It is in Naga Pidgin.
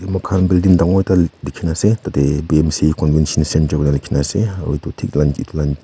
mur khan building dekhi kini ase tarte bmc convention center kina likhe kina ase aru thik lan thik lan--